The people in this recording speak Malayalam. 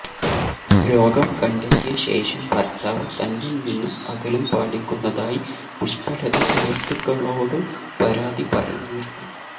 രോഗം കണ്ടെത്തിയ ശേഷം ഭര്ത്താവ് തന്നില് നിന്നും അകലം പാലിക്കുന്നതായി പുഷ്പലത സുഹൃത്തുക്കളോടു പരാതി പറഞ്ഞിരുന്നു